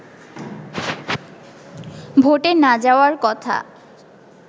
ভোটে না যাওয়ার কথা